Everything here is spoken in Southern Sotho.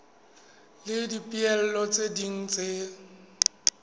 le dipehelo tse ding tse